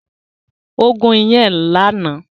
Ó gún iyán ẹ̀ lánàá